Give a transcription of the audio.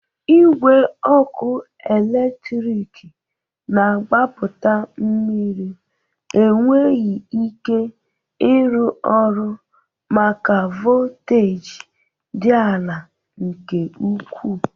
Igwe ọkụ eletriki na-agbapụta mmiri enweghi ike ịrụ ọrụ maka volteji dị ala nke ukwu